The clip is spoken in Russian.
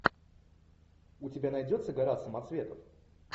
у тебя найдется гора самоцветов